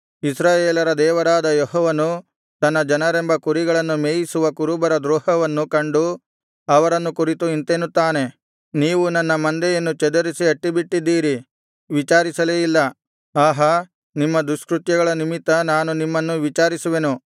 ಇಸ್ರಾಯೇಲರ ದೇವರಾದ ಯೆಹೋವನು ತನ್ನ ಜನರೆಂಬ ಕುರಿಗಳನ್ನು ಮೇಯಿಸುವ ಕುರುಬರ ದ್ರೋಹವನ್ನು ಕಂಡು ಅವರನ್ನು ಕುರಿತು ಇಂತೆನ್ನುತ್ತಾನೆ ನೀವು ನನ್ನ ಮಂದೆಯನ್ನು ಚದರಿಸಿ ಅಟ್ಟಿಬಿಟ್ಟಿದ್ದೀರಿ ವಿಚಾರಿಸಲೇ ಇಲ್ಲ ಆಹಾ ನಿಮ್ಮ ದುಷ್ಕೃತ್ಯಗಳ ನಿಮಿತ್ತ ನಾನು ನಿಮ್ಮನ್ನು ವಿಚಾರಿಸುವೆನು